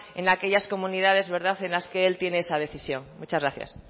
en aquellas comunidades en las que él tiene esa decisión muchas gracias